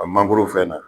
A mangoro fɛn na